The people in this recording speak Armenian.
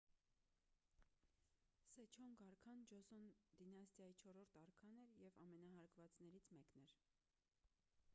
սեջոնգ արքան ջոսոն դինաստիայի չորրորդ արքան էր և ամենահարգվածներից մեկն էր